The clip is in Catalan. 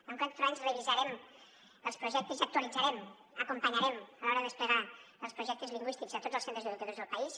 en quatre anys revisarem els projectes i actualitzarem acompanyaren a l’hora de desplegar els projectes lingüístics a tots els centres educatius del país